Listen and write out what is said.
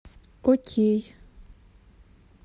окей